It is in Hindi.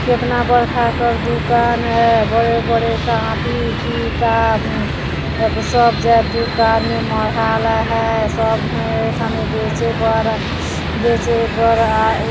केतना बड़का एखर दुकान है बड़े बड़े कापी किताब सब जग दुकान मे मढ़अल है सब है ए ठने बेचे बर बेचे बरआए--